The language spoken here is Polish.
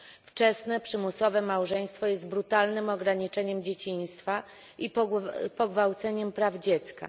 Wczesne przymusowe małżeństwo jest brutalnym ograniczeniem dzieciństwa i pogwałceniem praw dziecka.